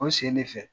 O sen de fɛ